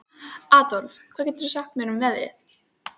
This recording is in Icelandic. Adólf, hvað geturðu sagt mér um veðrið?